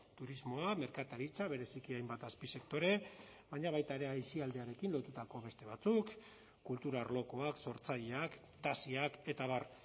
turismoa merkataritza bereziki hainbat azpisektore baina baita ere aisialdiarekin lotutako beste batzuk kultura arlokoak sortzaileak taxiak eta abar